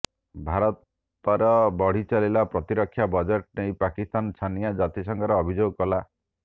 ଭାରତର ବଢିଚାଲିଥିବା ପ୍ରତିରକ୍ଷା ବଜେଟକୁ ନେଇ ପାକିସ୍ତାନ ଛାନିଆ ଜାତିସଂଘରେ ଅଭିଯୋଗ କଲା